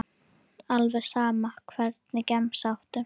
alveg sama Hvernig gemsa áttu?